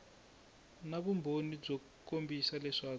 na vumbhoni byo kombisa leswaku